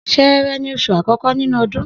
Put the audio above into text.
S̩e̩e̩re̩ ni os̩ù àkó̩kó̩ nínú o̩dún